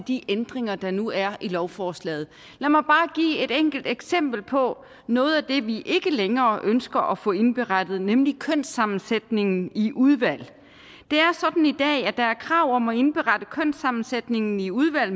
de ændringer der nu er i lovforslaget lad mig bare give et enkelt eksempel på noget af det vi ikke længere ønsker at få indberettet nemlig kønssammensætningen i udvalg det er sådan i dag at der er krav om at indberette kønssammensætningen i udvalg